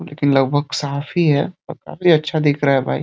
लेकिन लगभग साफ़ ही है और काफी अच्छा दिख रहा है --